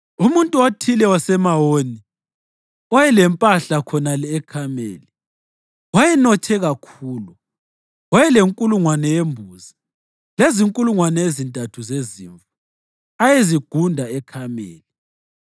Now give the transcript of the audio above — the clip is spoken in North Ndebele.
Umuntu othile waseMawoni, owayelempahla khonale eKhameli, wayenothe kakhulu. Wayelenkulungwane yembuzi lezinkulungwane ezintathu zezimvu ayezigunda eKhameli.